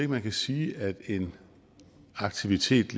man kan sige at en aktivitet